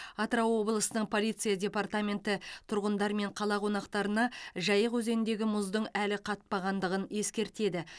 атырау облысының полиция департаменті тұрғындар мен қала қонақтарына жайық өзеніндегі мұздың әлі қатпағандығын ескертеді